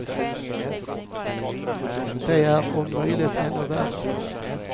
De är om möjligt ännu värre.